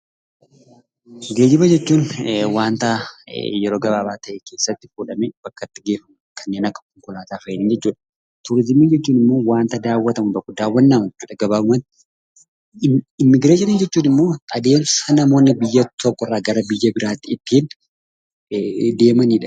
Geejjiba jechuun waanta yeroo gabaabaa keessatti fuudhamee bakkatti geeffamu, kanneen akka konkolaataa fa'iin jechuudha. Turizimii jechuun immoo waanta daawwatamu tokko, daawwannaadha jechuudha gabaabumatti. Immigireeshinii jechuun immoo adeemsa namoonni biyya tokko irraa gara biyya biraatti ittiin deemanidha.